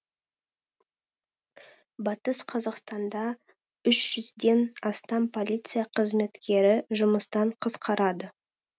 батыс қазақстанда үш жүзден астам полиция қызметкері жұмыстан қысқарады